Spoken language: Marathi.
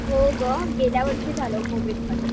हो गं गेल्यावर्षी झालं कोविडमध्ये.